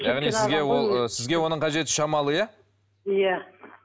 яғни сізге ол ы сізге оның қажеті шамалы иә иә